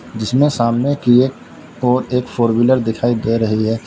जिसमें सामने की ओर एक फोर व्हीलर दिखाई दे रही है।